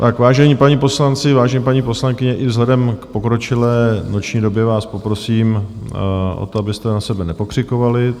Tak vážení páni poslanci, vážení paní poslankyně, i vzhledem k pokročilé noční době vás poprosím o to, abyste na sebe nepokřikovali.